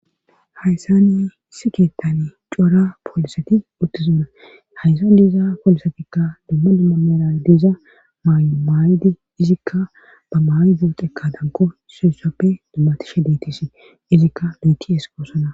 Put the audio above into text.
hayssa ni issi keettani coora poolisati uttizona hayssan diiza poolisatikka dumma dumma mera diiza maymaayidi izikka ba maaydoo xekka danko isussappe dummatishe deetisi izikka duutiesqoosona